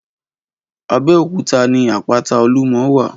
Abeokuta ni àpátá ólúmò wá